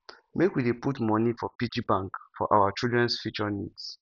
make we dey put money for piggy bank for our childrens future needs